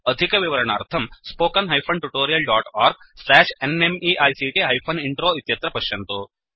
अधिकविवरणार्थं spoken hyphen tutorial dot org slash NMEICT hyphen intro इत्यत्र पश्यन्तु